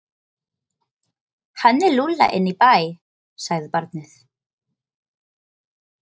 Hann er lúlla inn í bæ, sagði barnið.